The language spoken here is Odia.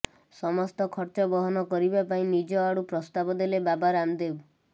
ସମସ୍ତ ଖର୍ଚ୍ଚ ବହନ କରିବା ପାଇଁ ନିଜ ଆଡ଼ୁ ପ୍ରସ୍ତାବ ଦେଲେ ବାବା ରାମଦେବ